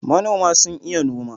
manoma sun iya noma.